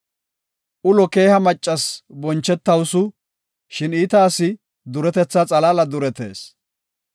Ulo keeha maccasi bonchetawusu; shin iita asi duretetha xalaala duretees.